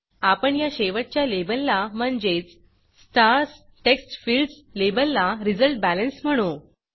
आपण या शेवटच्या लेबलला म्हणजेच स्टार्स textfieldsस्टार्स टेक्स्टफील्ड लेबलला resultBalanceरिज़ल्ट बॅलेन्स म्हणू